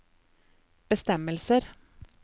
bestemmelser